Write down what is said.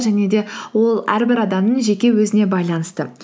және де ол әрбір адамның жеке өзіне байланысты